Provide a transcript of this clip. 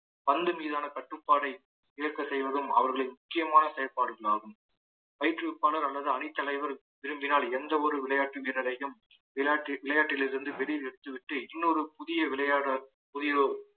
பந்து மீதான கட்டுப்பாட்டை இழக்க செய்வதும் அவர்களின் முக்கியமான செயல்பாடுகளாகும் பயிற்றுவிப்பாளர் அல்லது அணி தலைவர் விரும்பினால் எந்த ஒரு விளையாட்டு வீரரையும் விளை~ விளையாட்டில் இருந்து வெளியே எடுத்துவிட்டு இன்னொரு புதிய விளையாட புதியதோர்